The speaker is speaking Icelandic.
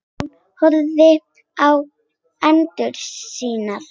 Hún horfir á hendur sínar.